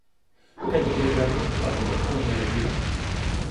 Kaj drugega pa bi lahko naredila?